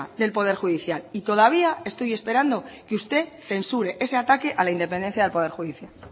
del poder judicial y todavía estoy esperando a que usted censure ese ataque a la independencia del poder judicial